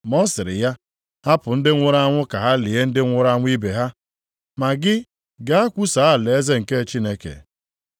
Ma ọ sịrị ya, “Hapụ ndị nwụrụ anwụ ka ha lie ndị nwụrụ anwụ ibe ha. Ma gị gaa kwusaa alaeze nke Chineke.”